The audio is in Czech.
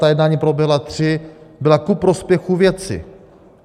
Ta jednání proběhla tři, byla ku prospěchu věci.